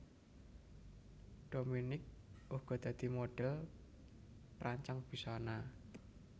Dominique uga dadi modhèl perancang busana